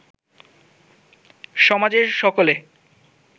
সমাজের সকলে